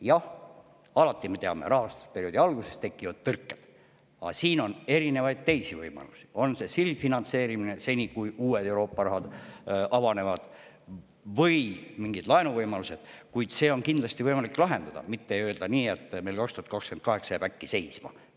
Jah, alati, me teame, tekivad rahastusperioodi alguses tõrked, aga siin on erinevaid teisi võimalusi, on see sildfinantseerimine, seni kuni uued Euroopa rahad avanevad, või mingid laenuvõimalused, kuid seda on kindlasti võimalik lahendada, mitte nii, et öeldakse, et meil 2028 jääb see kõik äkki seisma.